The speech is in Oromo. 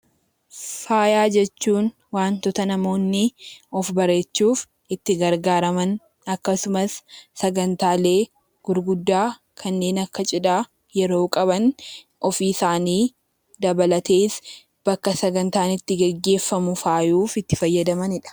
Faaya jechuun waantota namoonni of bareechuuf itti gargaaraman akkasumas sagantaalee gurguddaa kanneen akka cidhaa yeroo qaban ofiisaanii dabalatees bakka sagantaan itti gaggeeffamuuf faayuuf itti fayyadamanidha.